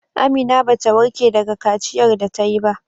Amina bata warke daga kaciyar da tayi ba.